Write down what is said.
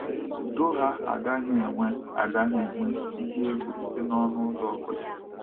Udo ha agaghị enwe agaghị enwe ihe egwu site n’ọnụ ụzọ ọ bụla